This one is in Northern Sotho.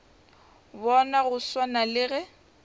bona go swana le ge